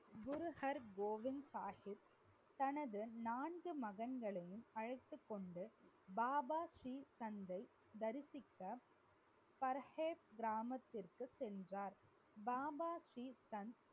குரு ஹர்கோவிந்த் ஷாஹிப் தனது நான்கு மகன்களையும் அழைத்துக்கொண்டு பாபா ஸ்ரீ சந்தை தரிசிக்க பரஹேட் கிராமத்துக்கு சென்றார். பாபா ஸ்ரீ சந்த்